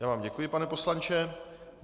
Já vám děkuji, pane poslanče.